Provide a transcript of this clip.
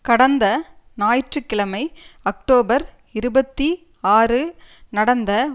கடந்த ஞாயிற்று கிழமை அக்டோபர் இருபத்தி ஆறு நடந்த